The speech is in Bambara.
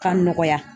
K'a nɔgɔya